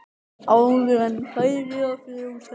Áður en færi að frjósa.